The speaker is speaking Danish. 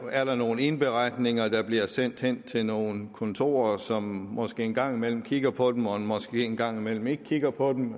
er nogle indberetninger der bliver sendt hen til nogle kontorer som måske en gang imellem kigger på dem og måske en gang imellem ikke kigger på dem